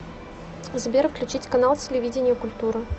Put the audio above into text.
сбер включить канал телевидения культура